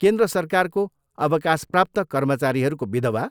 केन्द्र सरकारको अवकाशप्राप्त कर्मचारीहरूको विधवा।